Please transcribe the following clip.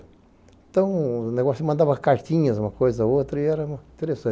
Então, o negócio mandava cartinhas, uma coisa, outra, e era interessante.